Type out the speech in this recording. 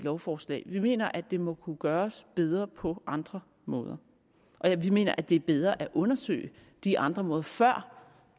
lovforslag vi mener at det må kunne gøres bedre på andre måder og vi mener at det er bedre at undersøge de andre måder før